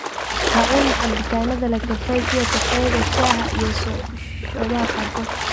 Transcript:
Ha cunin cabitaanada leh kafeyn sida kafeega, shaaha, iyo soodhaha qaarkood.